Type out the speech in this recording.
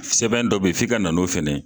Sɛbɛn dɔ be yen, f'i ka na o fɛnɛ ye